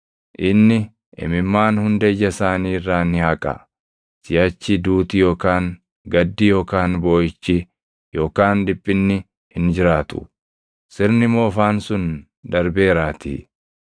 Inni imimmaan hunda ija isaanii irraa ni haqa. Siʼachi duuti yookaan gaddi yookaan booʼichi yookaan dhiphinni hin jiraatu; sirni moofaan sun darbeeraatii.”